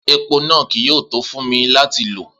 Epo naa kii yoo to fun mi lati lo.